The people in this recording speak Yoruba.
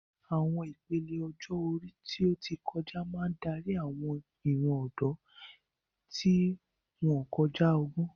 Àwọn ìpele ọjọ́ orí tó ti kọjá máa ń darí àwọn ìran ọ̀dọ́, tí wọ́n ń kọjá ọgbọ́n.